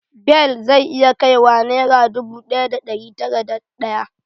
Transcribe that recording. Bel zai iya kai wa nera ɗubu ɗaya da ɗari tara da ɗaya